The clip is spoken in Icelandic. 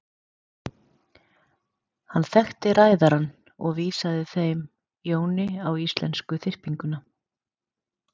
Hann þekkti ræðarann og vísaði þeim Jóni á íslensku þyrpinguna.